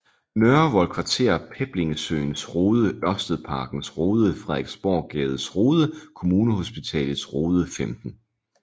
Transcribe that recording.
Nørrevold Kvarter Peblingesøens Rode Ørstedsparkens Rode Frederiksborggades Rode Kommunehospitalets Rode 15